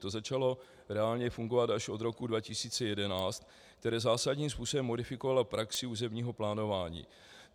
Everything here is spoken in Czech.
To začalo reálně fungovat až od roku 2011, které zásadním způsobem modifikovala praxi územního plánování.